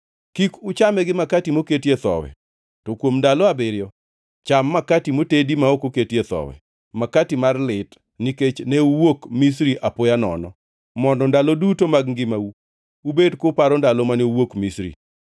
Kik uchame gi makati moketie thowi, to kuom ndalo abiriyo cham makati motedi ma ok oketie thowi, makati mar lit, nikech ne uwuok Misri apoya nono; mondo ndalo duto mag ngimau ubed kuparo ndalo mane uwuok Misri.